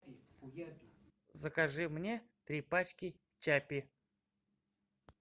закажи мне три пачки чаппи